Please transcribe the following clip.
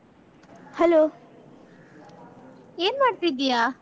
Hello .